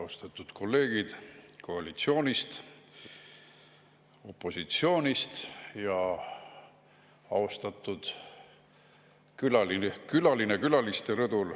Austatud kolleegid koalitsioonist ja opositsioonist ning austatud külaline külaliste rõdul!